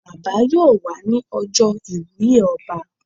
Bàbá yóò wà ní ọjọ́ iwùye ọba